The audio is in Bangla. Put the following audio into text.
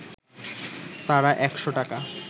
তারা একশ’ টাকা